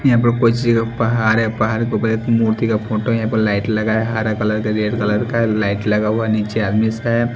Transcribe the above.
यहां पे कोई चीज का पहाड़ है पहाड़ के ऊपर एक मूर्ति का फोटो है यहां पे लाइट लगा है हरा कलर का रेड कलर का लाइट हुआ नीचे आदमीस हैं।